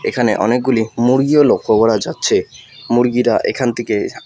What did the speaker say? এখানে অনেকগুলি মুরগিও লক্ষ করা যাচ্ছে মুরগিরা এখান থিকে--